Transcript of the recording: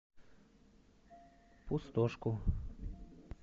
пустошку